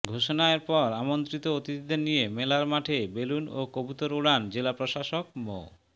ঘোষণার পর আমন্ত্রিত অতিথিদের নিয়ে মেলার মাঠে বেলুন ও কবুতর ওড়ান জেলা প্রশাসক মো